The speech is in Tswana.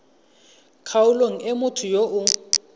kgaolong e motho yo o